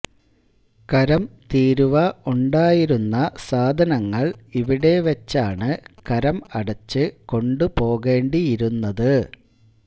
കരം തീരുവ ഉണ്ടായിരുന്ന സാധനങ്ങൾ ഇവിടെ വച്ചാണ് കരം അടച്ച് കൊണ്ട് പോകേണ്ടിയിരുന്നത്